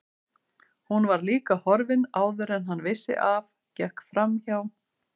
Hún var líka horfin áður en hann vissi af, gekk framhjá